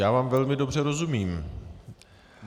Já vám velmi dobře rozumím.